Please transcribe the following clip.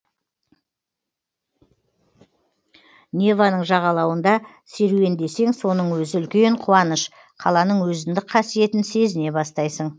неваның жағалауында серуендесең соның өзі үлкен қуаныш қаланың өзіндік қасиетін сезіне бастайсың